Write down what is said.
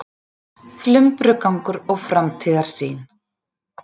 Flumbrugangur og framtíðarsýn